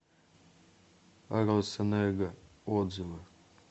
росэнерго отзывы